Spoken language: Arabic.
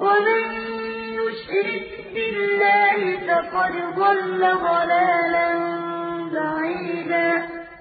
إِنَّ اللَّهَ لَا يَغْفِرُ أَن يُشْرَكَ بِهِ وَيَغْفِرُ مَا دُونَ ذَٰلِكَ لِمَن يَشَاءُ ۚ وَمَن يُشْرِكْ بِاللَّهِ فَقَدْ ضَلَّ ضَلَالًا بَعِيدًا